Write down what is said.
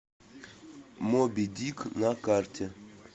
моби дик на карте